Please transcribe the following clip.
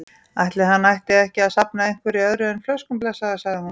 Ætli hann ætti ekki að safna einhverju öðru en flöskum, blessaður, sagði hún.